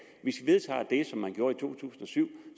hvis i vedtager det som man gjorde i to tusind og syv